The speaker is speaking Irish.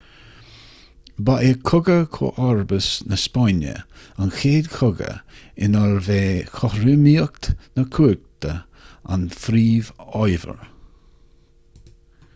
ba é cogadh chomharbas na spáinne an chéad chogadh inarbh é cothromaíocht na cumhachta an phríomhábhar